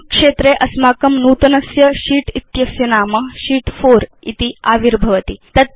नमे क्षेत्रे अस्माकं नूतनस्य शीत् इत्यस्य नाम शीत् 4 इति आविर्भवति